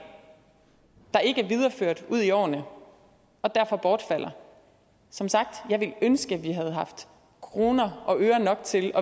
der ikke er videreført ud i årene og derfor bortfalder som sagt jeg ville ønske at vi havde haft kroner og øre nok til